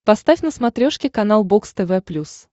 поставь на смотрешке канал бокс тв плюс